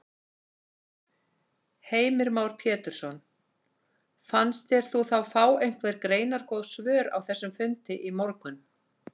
Heimir Már Pétursson: Fannst þér þú fá einhver greinargóð svör á þessum fundi í morgun?